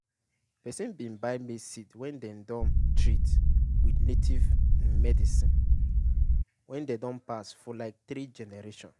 person bin buy maize seed wen den don treat with native medicine wen den don pass for like three generation.